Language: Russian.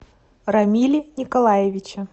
рамиле николаевиче